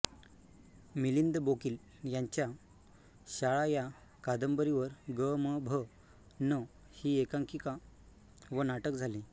मिलिंद बोकील यांच्या शाळा या कादंबरीवर ग म भ न ही एकांकिका व नाटक झाले